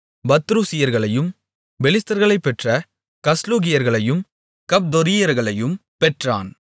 பத்ருசியர்களையும் பெலிஸ்தர்களைப் பெற்ற கஸ்லூகியர்களையும் கப்தொரீயர்களையும் பெற்றான்